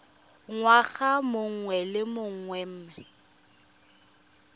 ngwaga mongwe le mongwe mme